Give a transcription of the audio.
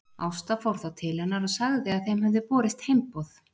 Ásta fór þá til hennar og sagði að þeim hefði borist heimboð.